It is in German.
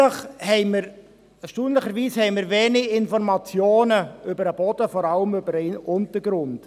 Erstaunlicherweise haben wir wenige Informationen über den Boden, vor allem über den Untergrund.